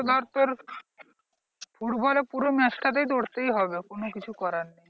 ধর তোর ফুটবলে পুরো match টাই দৌড়োতেই হবে কোনো কিছু করার নেই।